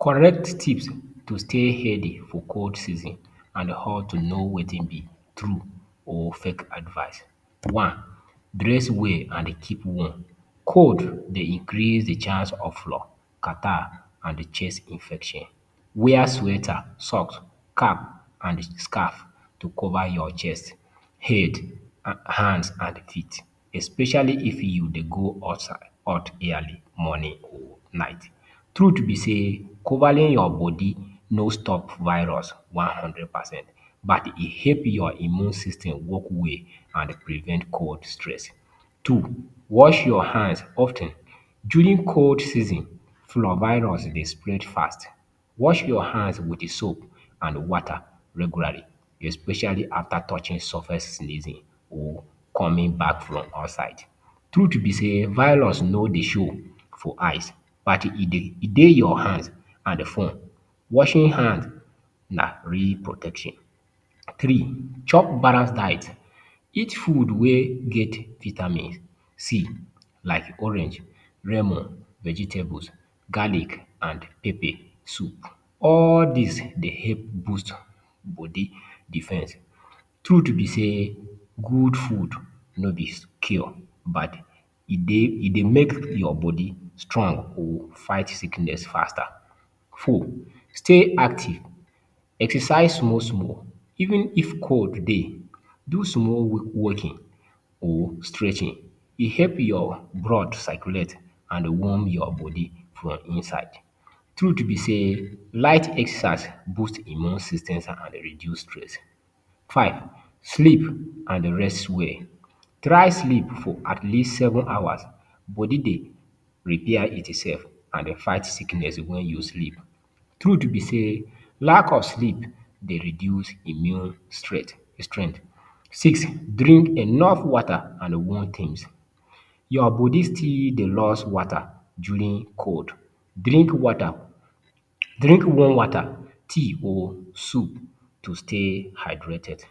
Correct tips to stay healthy for cold season and how to know wetin be tru or fake advice One, dress well and keep warm. Cold dey increase the chance of flu, catarrh and chest infection. Wear sweater, socks and cap to cover your chest, head, hand and teeth. Especially if you dey go outside early morning or night. Truth be say, covering your body no stop virus one hundred percent. But, e help your immune system work well and prevent cold stress. Two, wash your hands of ten. During cold season, flu virus dey spread fast. Wash your hands with soap and water regularly, especially after touching surface sneezing or coming back from outside. Truth be say, virus no dey show for eyes. But, e dey your hands and phone. Washing hands na real protection. Three, chop balanced diet. Eat food wey get vitamin C like orange, lemon, vegetables, garlic and pepper soup. All dis dey help boost body defense. Truth be say, good food no be cure but e dey e dey make body strong to fight sickness faster. Four, stay active. Exercise small small even if cold dey. Do small walking or stretching, e dey help your blood circulate and warm your body from inside. Truth be say, light exercise boost immune systems and reduce stress. Five, sleep and rest well. Try sleep for at least seven hours. Body dey repair itself and dey fight sickness when you sleep. Truth be say, lack of sleep dey reduce immune strength. Six, drink enough water and warm things. Your body still dey lost water during cold. Drink water, drink warm water, tea or soup to stay hydrated.